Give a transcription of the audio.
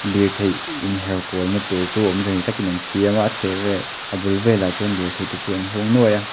lirthei in her kual na tur chu awmze nei takin an siam a a chheh vel a bul velah chuan lirthei te chu an hung nuai a.